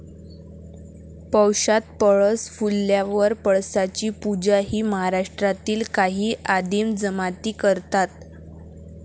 पौषात पळस फुलल्यावर पळसाची पूजा हि महाराष्ट्रातील काही आदिम जमाती करतात.